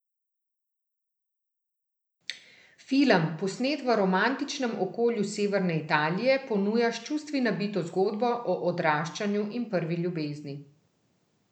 Film, posnet v romantičnem okolju severne Italije, ponuja s čustvi nabito zgodbo o odraščanju in prvi ljubezni.